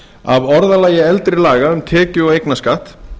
af orðalagi eldri laga um tekju og eignarskatt